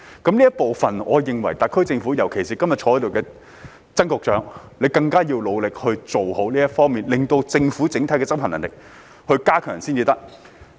在這方面，我認為特區政府，特別是今天在席的曾局長，更要努力加強政府的執行能力。